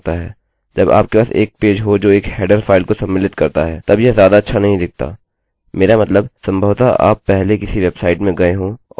यह काफी खराब लगता है जब आपके पास एक पेज हो जो एक हेडरheaderफाइल को सम्मिलित करता है